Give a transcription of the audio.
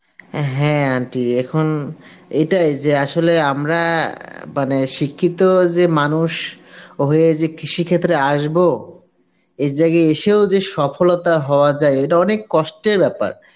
অ্যাঁ হ্যাঁ aunty এখন এটাই যে আসলে আমরা মানে শিক্ষিত যে মানুষ হয়ে যে কৃষিক্ষেত্রে আসবো এই জায়গায় এসেও যে সফলতা হওয়া যায় এটা অনেক কষ্টের ব্যাপার